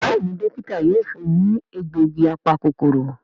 Béèni Dókítà yóò fún ní egbògi apa-kòkòrò.